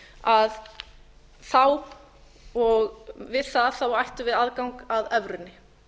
að þá og við það ættum við aðgang að evrunni